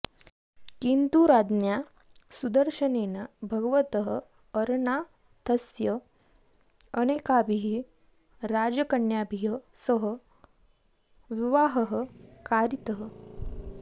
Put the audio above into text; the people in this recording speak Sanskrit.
किन्तु राज्ञा सुदर्शनेन भगवतः अरनाथस्य अनेकाभिः राजकन्याभिः सह विवाहः कारितः